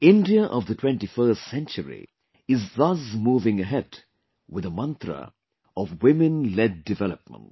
India of the 21st century is thus moving ahead with the mantra of Women Led Development